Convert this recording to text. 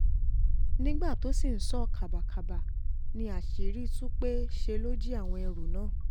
nígbà tó sì ń sọ kábàkàbà ni àṣírí tú pé ṣe ló jí àwọn ẹrú náà